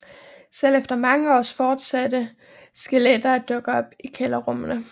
Selv efter mange år fortsatte skeletter at dukke op i kælderrummene